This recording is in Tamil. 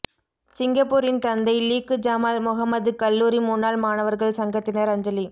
சிங்கப்பூரின் தந்தை லீக்கு ஜமால் முஹம்மது கல்லூரி முன்னாள் மாணவர்கள் சங்கத்தினர் அஞ்சலி